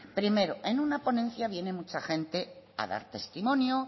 primero en una ponencia viene mucha gente a dar testimonio